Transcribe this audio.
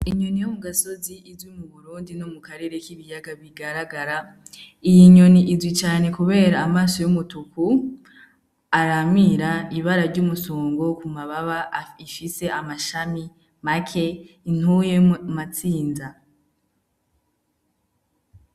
Inyoni yo mu gasozi izwi mu burundi no mu karere k'ibiyaga bigaragara iyi inyoni izwi cane, kubera amaso y'umutuku aramira ibara ry'umusongo ku mababa ifise amashami make intuye amatsinza.